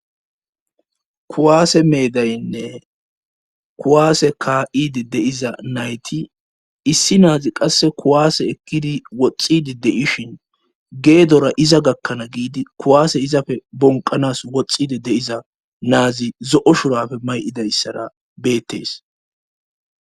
kuwaase meedaynne kuwaase ka7idi de7iza nayti issi na7azi qasse kuwaase ekkidi woxxidi de7ishin geedora iza gakkanaa giidi kuwaase izafe bonqanas woxxidi de7iza na7azi zo7o shurabe may7idayssara beettees.